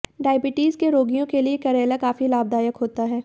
diabetes के रोगियों के लिए करेला काफी लाभदायक होता है